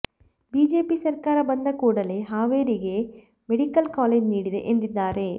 BJP ಸರ್ಕಾರ ಬಂದ ಕೂಡಲೇ ಹಾವೇರಿಗೆ ಮೆಡಿಕಲ್ ಕಾಲೇಜು ನೀಡಿದೆ ಎಂದಿದ್ದಾರೆ